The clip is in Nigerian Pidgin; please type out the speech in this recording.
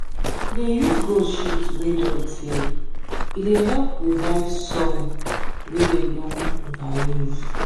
if you dey use goat shit wey don tey e dey help revive soil wey them don over use.